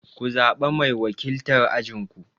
Ku zaɓa mai wakiltar ajin ku!